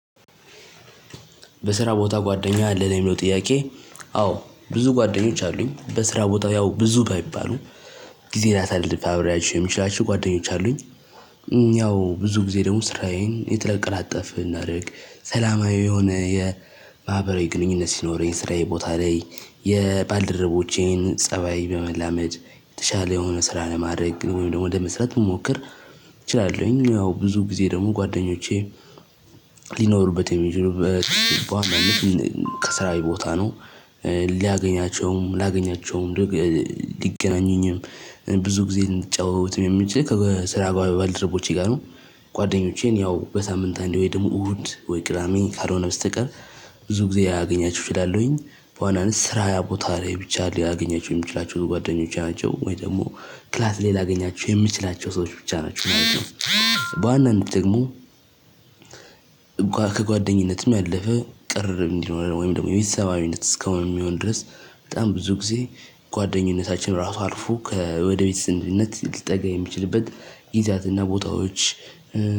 በስራ ቦታ ጓደኛ ለሚለው ጥያቄ? አዎ ብዙ ጓደኞች አሉኝ በስራ ቦታ ያው ብዙ ባይባሉ ጊዜ ላሳልፍ አብሬያቸው የምችላቸው ጓደኞች አሉኝ። ያው ብዙ ጊዜ ደግሞ ስራዬን የተቀላጠፈ እናድርግ ሰላማዊ የሆነ የማህበራዊ ግንኙነት ሲኖረኝ ስራዬ ቦታ ላይ የባልደረቦቼን ፀባይ በመላመድ የተሻለ የሆነ ስራ ለማድረግ ወይም ደግሞ ለመስራት መሞከር። እችላለሁኝ ያው ብዙ ጊዜ ደግሞ ጓደኞቼ ሊኖሩበት የሚችሉበት በዋናነት ከስራየ ቦታ ነው። ሊያገኛቸውም ሊያገኛቸውም ሊገናኙኝም ብዙ ጊዜ ልንጫወትም የሚችል ከስራ ባልደረቦቼ ጋ ነው። ጓደኞቼን ያው በሳምንት አንድ ወይ ደግሞ እሁድ ወይ ቅዳሜ ካልሆነ በስተቀር ብዙ ጊዜ ያገኛችሁ እችላለሁኝ። በዋናነት ስራ ቦታ ላይ ብቻ ሊያገኛቸው የምችላቸው ጓደኞቼ ናቸው ወይ ደግሞ ክላስ ላይ ላገኛቸው የምችላቸው ሰዎች ብቻ ናቸው። በዋናነት ደግሞ እንኳን ከጓደኝነትም ያለፈ ቅርርብ እንዲኖረን ወይም ደግሞ የቤተሰባዊነት እስካሁን የሚሆን ድረስ በጣም ብዙ ጊዜ ጓደኝነታችን ራሱ አልፎ ከወደ ቤተሰብነት ሊጠጋ የሚችልበት ጊዜያትና ቦታዎች